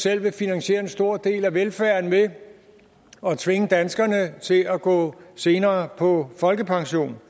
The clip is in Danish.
selv vil finansiere en stor del af velfærden ved at tvinge danskerne til at gå senere på folkepension